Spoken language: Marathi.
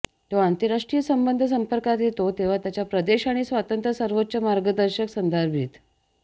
तो आंतरराष्ट्रीय संबंध संपर्कात येतो तेव्हा त्याच्या प्रदेश आणि स्वातंत्र्य सर्वोच्च मार्गदर्शक संदर्भित